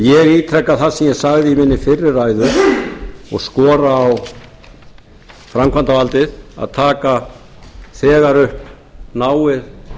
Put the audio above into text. ég ítreka það sem ég sagði í minni fyrri ræðu og skora á framkvæmdarvaldið að taka þegar upp náið